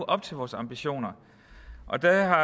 op til vores ambitioner og der har